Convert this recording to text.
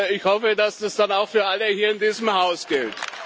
Ich hoffe, dass das dann auch für alle hier in diesem Haus gilt.